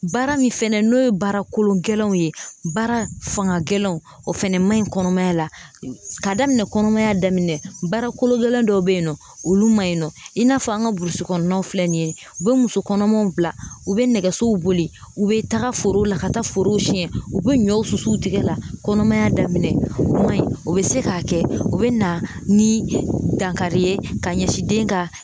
Baara min fɛnɛ n'o ye baara kolo gɛlɛnw ye baara fanga gɛlɛnw o fana ma ɲi kɔnɔmaya la k'a daminɛ kɔnɔmaya daminɛ baara kolo gɛlɛn dɔw bɛ yen nɔ olu man ɲi nɔ i n'a fɔ an ka burusikɔnɔnaw filɛ nin ye u bɛ muso kɔnɔmaw bila u bɛ nɛgɛsow boli u bɛ taga foro la ka taa forow siɲɛ u bɛ ɲɔw susu u tigɛ la kɔnɔmaya daminɛ o man ɲi o bɛ se k'a kɛ u bɛ na ni dankari ye ka ɲɛsin den ka